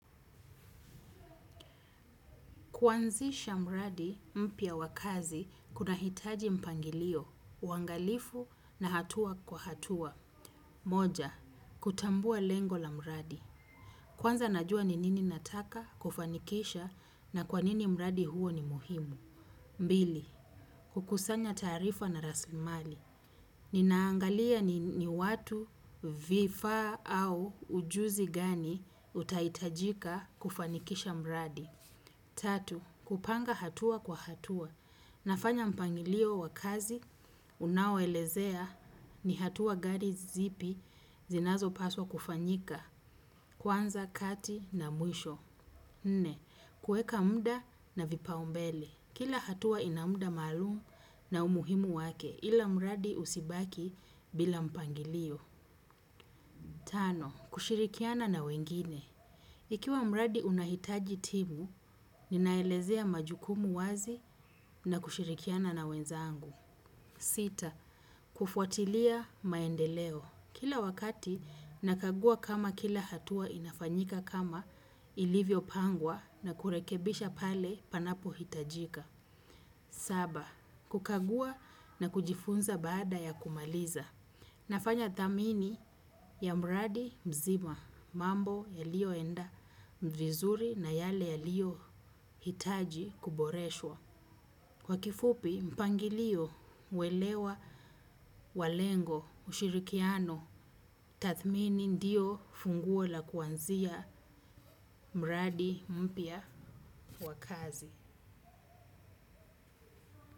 Kuanzisha mradi mpya wa kazi kunahitaji mpangilio, uangalifu na hatua kwa hatua. Moja, kutambua lengo la mradi. Kwanza najua ni nini nataka kufanikisha na kwa nini mradi huu ni muhimu. Mbili, kukusanya taarifa na rasimali. Ninaangalia ni watu viffa au ujuzi gani utaitajika kufanikisha mradi. Tatu, kupanga hatua kwa hatua. Nafanya mpangilio wa kazi, unaoelezea ni hatua gani zipi zinazopaswa kufanyika, kwanza kati na mwisho. Nne, kuweka mda na vipaumbele. Kila hatua ina mda malumu na umuhimu wake, ila mradi usibaki bila mpangilio. Tano, kushirikiana na wengine. Ikiwa mradi unahitaji timu, ninaelezea majukumu wazi na kushirikiana na wenzangu. Sita, kufuatilia maendeleo. Kila wakati, nakagua kama kila hatua inafanyika kama ilivyopangwa na kurekebisha pale panapo mhitajika. Saba, kukagua na kujifunza baada ya kumaliza. Nafanya thamini ya mradi mzima mambo yalioenda vizuri na yale yaliohitaji kuboreshwa. Kwa kifupi mpangilio uelewa walengo ushirikiano tathmini ndio funguo la kuanzia mradi mpya wa kazi.